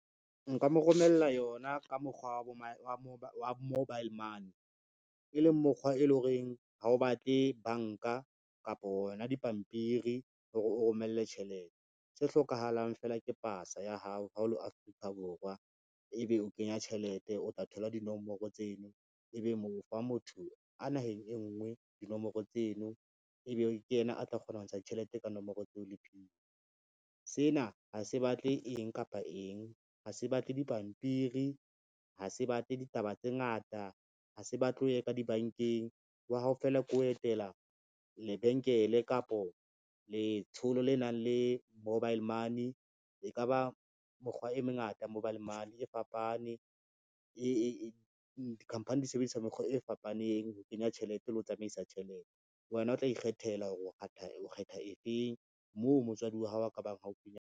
Nka mo romella yona ka mokgwa wa mobile money, e leng mokgwa e lo reng ha o batle banka kapo hona dipampiri hore o romelle tjhelete, se hlokahalang fela ke pasa ya hao ha o le Afrika Borwa, ebe o kenya tjhelete o tla thola dinomoro tseno, ebe o fa motho a naheng e ngwe dinomoro tseno, ebe ke yena a tla kgona ho ntsha ditjhelete ka nomoro tseo le PIN. Sena ha se batle eng kapa eng, ha se batle dipampiri, ha se batle ditaba tse ngata, ha se batle o ye ka dibankeng wa hao feela, ke ho etela lebenkele kapo letsholo le nang le mobile money. E ka ba mokgwa e meng ngata mobile money e fapane dikhamphani di sebedisa mekgwa e fapaneng ho kenya tjhelete le ho tsamaisa tjhelete, wena o tla ikgethela hore o kgetha e feng moo motswadi wa hao a ka bang haufinyana.